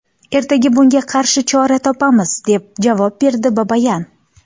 Ertaga bunga qarshi chora topamiz”, deb javob berdi Babayan.